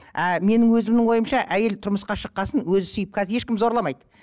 ы менің өзімнің ойымша әйел тұрмысқа шыққан соң өзі сүйіп қазір ешкім зорламайды